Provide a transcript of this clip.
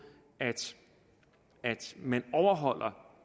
at man overholder